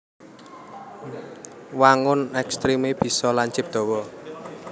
Wangun ekstremé bisa lancip dawa